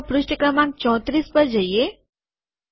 તો ચાલો પૃષ્ઠ ક્રમાંક ૩૪ પર જઈએ